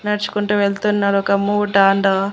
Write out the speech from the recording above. నడుచుకుంటూ వెళ్తున్నారు ఒక మూట అండ్ --